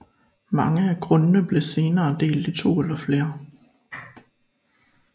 Mange af grundene blev senere delt i 2 eller flere